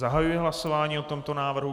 Zahajuji hlasování o tomto návrhu.